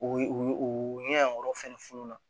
O ye ɲɛgɛn yanyɔrɔ fɛnɛ fununna